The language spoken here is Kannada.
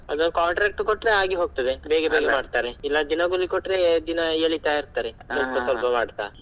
ಅದು contract ಕೊಟ್ಟರೆ ಆಗಿ ಹೋಗತದೇ . ಇಲ್ಲ ದಿನಗೂಲಿ ಕೊಟ್ಟರೆ ದಿನ ಏಳಿತಾ ಇರ್ತಾರೆ ದುಡ್ಡು ಸ್ವಲ್ಪ ಮಾಡ್ತಾ.